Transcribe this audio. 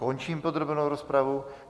Končím podrobnou rozpravu.